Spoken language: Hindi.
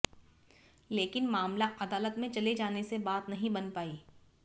लेकिन मामला आदालत में चले जाने से बात नहीं बन पाई